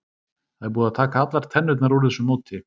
Það er búið að taka allar tennurnar úr þessu móti.